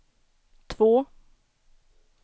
två